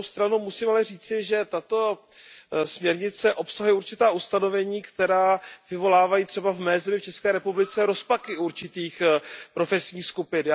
Na druhou stranu ale musím říci, že tato směrnice obsahuje určitá ustanovení, která vyvolávají třeba v mé zemi, v České republice, rozpaky u určitých profesních skupin.